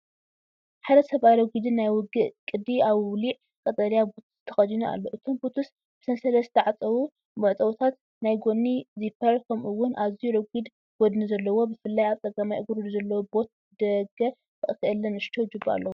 ሓደ ሰብኣይ ረጒድን ናይ ውግእ ቅዲ ኣውሊዕ ቀጠልያ ቡት ተኸዲኑ ኣሎ። እቶም ቡትስ ብሰንሰለት ዝተዓጽዉ መዕጸዊታት፡ ናይ ጎኒ ዚፐር፡ ከምኡ’ውን ኣዝዩ ረጒድን ጐድኒ ዘለዎን፣ ብፍላይ ኣብ ጸጋማይ እግሩ ዘሎ ቦት ብደገ ክእለ ንእሽቶ ጁባ ኣለዎ።